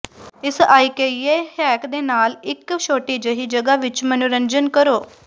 ਇਸ IKEA hack ਦੇ ਨਾਲ ਇੱਕ ਛੋਟੀ ਜਿਹੀ ਜਗ੍ਹਾ ਵਿੱਚ ਮਨੋਰੰਜਨ ਕਰੋ